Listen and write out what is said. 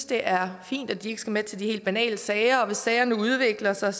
det er fint at de ikke skal med til de helt banale sager og hvis sagerne udvikler sig